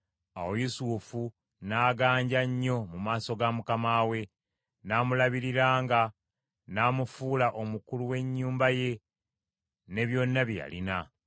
Awo Yusufu n’aganja nnyo mu maaso ga mukama we, n’amulabiriranga, n’amufuula omukulu we nnyumba ye ne byonna bye yalina.